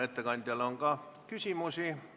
Ettekandjale on ka küsimusi.